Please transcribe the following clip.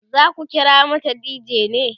zaku kira mata dj ne?